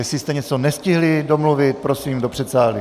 Jestli jste něco nestihli domluvit, prosím do předsálí.